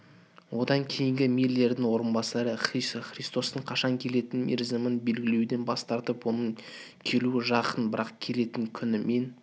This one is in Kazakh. одан кейінгі миллердің орынбасары христостың қашан келетін мерзімін белгілеуден бас тартып оның келуі жақын бірақ келетін күні мен